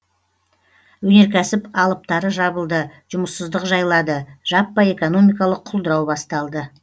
өнеркәсіп алыптары жабылды жұмыссыздық жайлады жаппай экономикалық құлдырау басталды